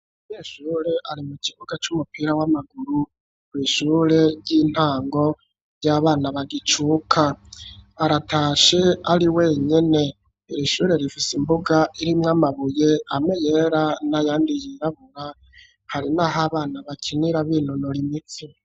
Umunyeshure ari mu kibuga c’umupira w'amaguru ku ishure ry'intango ry'abana bagicuka, aratashe ari wenyine iri ishure rifise imbuga iri mwamabuye ameyera n'a yandi yirabura hari naho abana bakinira b'inonora imitsi.